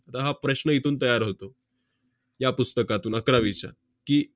त~ हा प्रश्न इथून तयार होतो, या पुस्तकातून अकरावीच्या की,